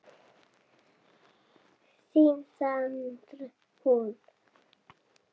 Þín Sandra Hlín.